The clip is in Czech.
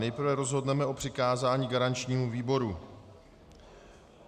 Nejprve rozhodneme o přikázání garančnímu výboru.